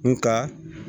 Nga